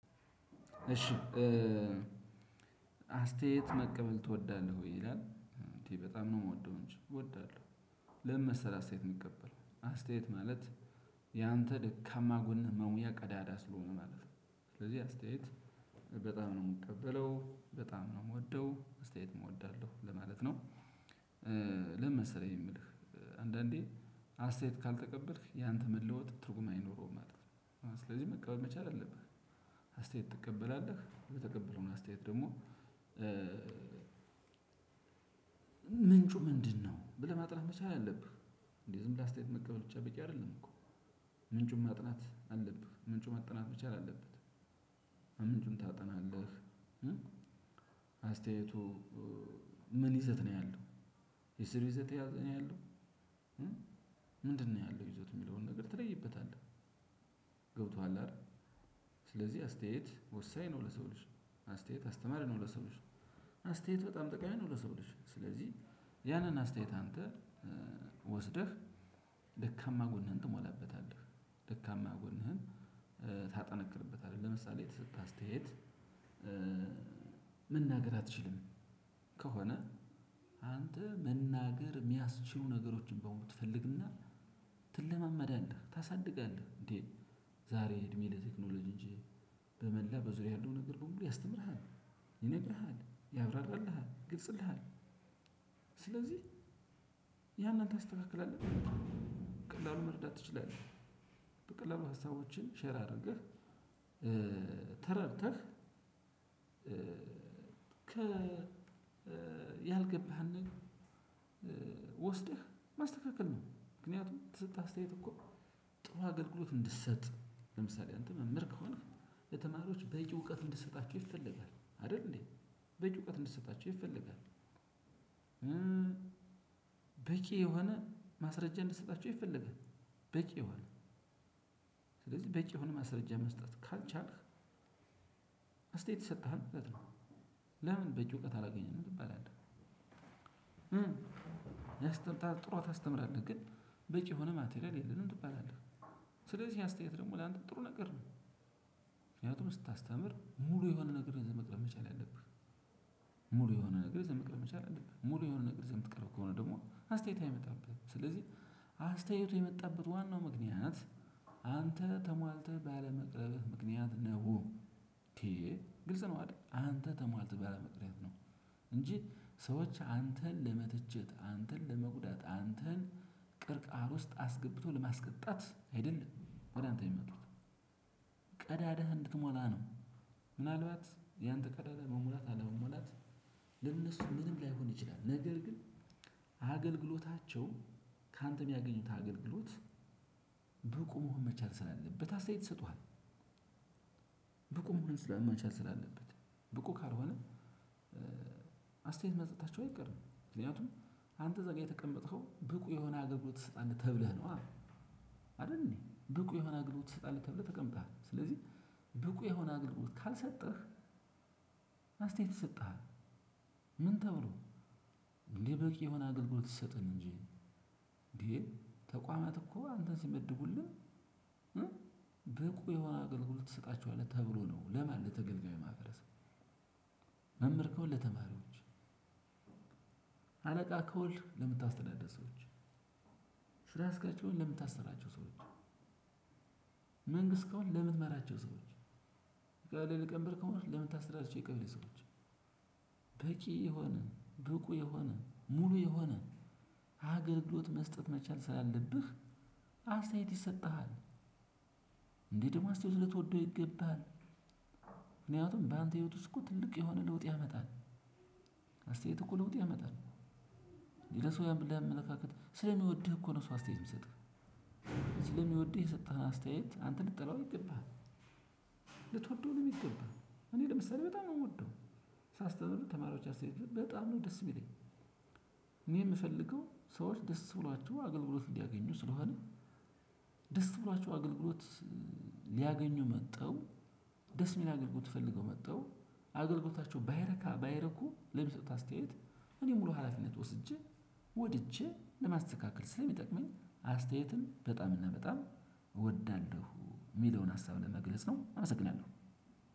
እሺ አስተያየት መቀበል ትወዳለህ ወይ ይላል እንዴ በጣም ነው የምወደው እንጂ እወዳለው። ለምን መሰለህ አስተያየት የምቀበል አስተያየት ማለት ያንተ ደካማህ ጎን መሙያ ቀዳዳ ስለሆነ ማለት ነው። ስለዚህ አስተያየት በጣም ነው የምቀበለው በጣም ነው የምወደው አስተያየት እወዳለው ለማለት ነው። ለምን መሰለህ ይህ የምልህ አንዳንዴ አስተያየት ካልተቀበልክ ያንተ መለወጥ ትርጉም አይኖረውም ማለት ነው። ስለዚህ መቀበል መቻል አለብህ። አስተያየት ትቀበላለህ የተቀበልከውን አስተያየት ደግሞ? ምንጩ ምንድነው ብለህ ማጥናት መቻል አለብህ። እንዴ ዝም ብለህ አስተያየት መቀበል ብቻ በቂ አይደለም እኮ። ምንጩን ማጥናት አለብህ ምንጩ መጠናት መቻል አለበት። ምንጩን ታጠናለህ። አስተያየቱ ምን ይዘት ነው ያለው? የስር ይዘት ያለው ነው ያለው። ምንድ ነው ያለው ይዞት የሚለውን ትለይበታለህ። ገብቶሃል አይደል? ስለዚህ አስተያየት ወሳኝ ነው ለሰው ልጅ። አስተያየት አስተማሪ ነው ለሰው ልጅ። አስተያየት በጣም ጠቃሚ ነው ለሰው ልጅ ስለዚህ። ያንን አስተያየት አንተ ወስደህ ደካማ ጎንህን ትሞላበታለህ። ደካማ ጎንህን ታጠነክርበታለህ። ለምሳሌ የተሰጠህ አስተያየት መናገር አትችልም። ከሆነ አንተ መናገር የሚያስችሉ ነገሮችን ትፈልግ እና። ተለማመደዳለህ ታሳድጋለህ እንዴ። ዛሬ እድሜ ለቴክኖሎጂ እንጂ በመላ በዙሪያ ያለው ነገር በሙሉ ያስተምርሃል ይነግርሃል ያብራራልሃል ይግልጽልሃል። ስለዚህ ያን አንተ ታስተካክላለህ በቀላሉ መርዳት ትችላለህ። በቀላሉ ሀሳቦችን ሼር አድርገህ። ተረድተህ ከ ያልገባህን ወስደህ ማስተካከል ነው ምክንያቱም የተሰጠህ አስተያየት እኮ። ጥሩ አገልግሎት እንድትሰጥ ለምሳሌ አንተ መምህር ከሆነ የተማሪዎች በቂ እውቀት እንድትሰጣቸው ይፈልጋል አይደል እንዴ? በቂ እውቀት እንድትሰጣቸው ይፈልጋል። በቂ የሆነ ማስረጃ እንድትሰጣቸው ይፈልጋል። በቂ የሆነ ስለዚህ በቂ የሆነ ማስረጃ መስጠት ካልቻልክ። እስተያየት ይሰጣሃል ማለት ነው። ለምን በቂ እውቀት አላገኘንም ትባላለህ። ያስተምራል ጥሩ ታስተምራለህ ግን በቂ የሆነ ማቴሪያል የለንም ትባላለህ። ስለዚህ አስተያየት ደግሞ ላንተ ጥሩ ነገር ነው። ምክንያቱም ስታስተምር ሙሉ የሆነ ነገር ይዘህ መቅረብ መቻል ያለብህ። ሙሉ የሆነ ነገር ይዘህ መቅረብ መቻል አለብህ። ሙሉ የሆነ ነገር ይዘህ መቅረብ ከሆነ ደግሞ አስተያየት አይመጣበህም። ስለዚህ አስተያየቱ የመጣበት ዋናው ምክንያት። አንተ ተሟልተህ ባለመቅረብህ ምክንያት ነው እንዴ? ግልጽ ነው አይደል አንተ ተሟልተህ ባለመቅረብ ነው። እንጂ ሰዎች አንተን ለመትቸት አንተን ለመጉዳት አንተን ቅርቃር ውስጥ አስገብቶ ለማስቀጣት አይደለም ወደ አንተ የሚመጡት። ቀዳዳህ እንድትሞላ ነው። ምናልባት ያንተ ቀዳዳ መሙላት አለመሙላት ለነሱ ምንም ላይሆን ይችላል ነገር ግን። አገልግሎታቸው ካንተ የሚያገኙት አገልግሎት በቁ መሆን መቻል ስላለበት አስተያየት ትሰጡሃል። ብቁ መሆ መቻል ስላለበት በቁ ካልሆነ አስተያየት መስጠታቸው አይቀርም ምክንያቱም። አንተ እዛ ጋር የተቀመጥከው ብቁ የሆነ አገልግሎት ትሰጣለህ ተብለህ ነው አይደል እንዴ? ብቁ የሆነ አግልግሎት ትሰጣለህ ተብለህ ተቀምጠሃል ስለዚህ። ብቁ የሆነ አገልግሎት ካልሰጠህ አስተያየት ይሰጠሃል። ምን ተብሎ? እንዴ በቂ የሆነ አገልግሎት ሰጥን እንጂ። እንዴ? ተቋማት እኮ አንተን ሲመድቡልን ብቁ የሆነ አገልግሎት ትሰጣቸዋለህ ተብሎ ነው ለማን ለተገልጋይ ማድረስ። መምህር ሆነ ለተማሪዎች። አለቃ ከሆንክ ለምታስተዳደር ሰዎች። ስራ አስከያጅ ለምታስራቸው ሰዎች። መንግስት ከሆነ ለምትመራቸው ሰዎች። ሊቀ መምበር ከሆነ ለምታስተዳድራቸው የቀበሌ ሰዎች። በቂ የሆነ ብቁ የሆነ ሙሉ የሆነ አገልግሎት መስጠት መቻል ስላለብህ አስተያየት ይሰጥሃል። እንዴ ደግሞ አስተያየት ልትወደው ይገባል። ምክንያቱም በአንተ ህይወት ውስጥ እኮ ትልቅ የሆነ ለውጥ ያመጣል። እኮ ለውጥ ያመጣል። ለሰው አመለካከት ስለሚወድህ እኮ ነው ሰው አስተያየት የሚትሰጥህ። ስለሚወድህ የሰጠህን አስተያየት አንተ ልትጠላው አይገባህም። ልትወደው ነው የሚገባህ። እኔ ለምሳሌ በጣም ነው የምወደው። ሳስተምር ተማሪዎች አስተያየት በጣም ነው ደስ የሚለኝ እኔ የምፈልገው ሰዎች ደስ ብሏቸው አገልግሎት እንዲያገኙ ስለሆነ። ደስ ብሏቸው አገልግሎት። ሊያገኙ መጥተው ደስ የሚል አገልግሎት ፈልገው መጥተው። አገልግሎታቸው ባይረካ ባይረኩ አስተያየት። እኔ ሙሉ ሀላፊነት ወስጄ ወድጄ ለማስተካከል ስለሚጠቅመኝ አስተያየት በጣም እና በጣም እወዳለው። የሚለውን ሀሳብ ለመግለጽ ነው። አመሰግናለው።